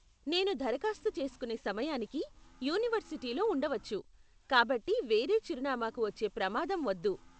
నేను దరఖాస్తు చేసుకునే సమయానికి యూనివర్సిటీలో ఉండవచ్చు, కాబట్టి వేరే చిరునామాకు వచ్చే ప్రమాదం వద్దు.